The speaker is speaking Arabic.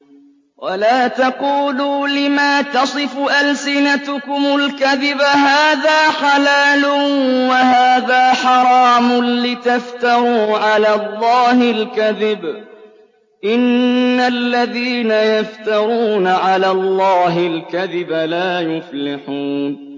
وَلَا تَقُولُوا لِمَا تَصِفُ أَلْسِنَتُكُمُ الْكَذِبَ هَٰذَا حَلَالٌ وَهَٰذَا حَرَامٌ لِّتَفْتَرُوا عَلَى اللَّهِ الْكَذِبَ ۚ إِنَّ الَّذِينَ يَفْتَرُونَ عَلَى اللَّهِ الْكَذِبَ لَا يُفْلِحُونَ